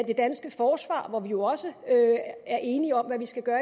det danske forsvar hvor vi jo også er enige om hvad vi skal gøre